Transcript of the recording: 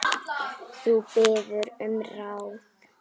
Þú biður um ráð.